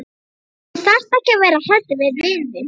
Þú þarft ekki að vera hræddur við vin þinn.